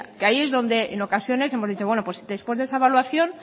que ahí es donde en ocasiones hemos dicho bueno pues después de esa evaluación